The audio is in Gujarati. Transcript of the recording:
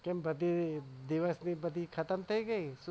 કેમ દિવસ ની બધી ખતમ થઇ ગઈ.